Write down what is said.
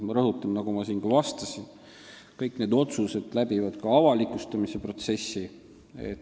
Ma rõhutan, nagu ma siin ka juba vastasin, et kõik need otsused teevad läbi avalikustamise protsessi.